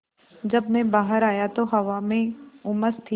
जब मैं बाहर आया तो हवा में उमस थी